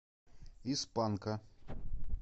из панка